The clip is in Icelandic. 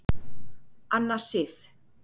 Anna Sif.